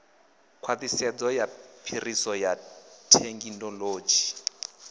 khwaṱhisedzo ya phiriso ya thekinolodzhi